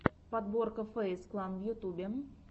подборка фэйз клан в ютюбе